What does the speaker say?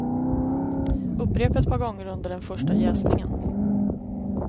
Upprepa ett par gånger under den första jäsningen.